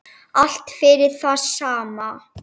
Allt fyrir það sama.